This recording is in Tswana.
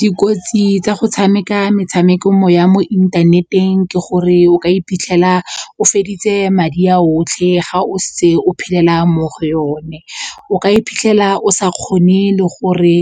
Dikotsi tsa go tshameka metshameko mo ya mo inthaneteng ke gore o ka iphitlhela o feditse madi a otlhe ga o se o phelela mo go yone, o ka iphitlhela o sa kgone le gore